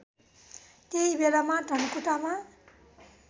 त्यही बेलामा धनकुटामा